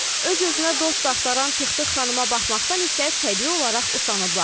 Öz-özünə dost axtaran Tıq-tıq xanıma baxmaqdan isə təbii olaraq usanıblar.